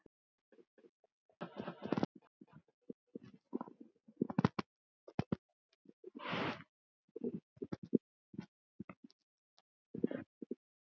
Eins og talað úr hans hjarta.